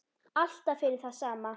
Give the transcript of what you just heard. Allt fyrir það sama.